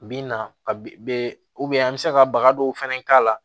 Bi na ka be an be se ka baga dɔw fɛnɛ k'a la